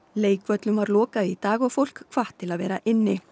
leikvöllum var lokað í dag og fólk hvatt til að vera inni